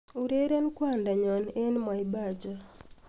ureren kwandanyon en mwaipaja